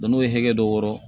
n'o ye hakɛ dɔ wɔrɔ